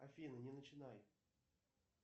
афина не начинай